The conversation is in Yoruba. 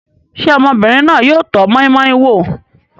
Ṣé ọmọbìnrin náà yóò tọ́ moi-moi wò?